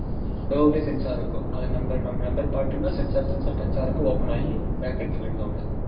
Door லையே sensor இருக்கு அத நம்ம number பாத்துட்டோம்னா sensor , sensor touch பண்றப்போ open ஆகி நம்ம bag எடுத்துக்கலாம்